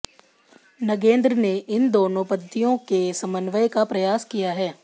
नगेंद्र ने इन दोनों पद्धतियों के समन्वय का प्रयास किया है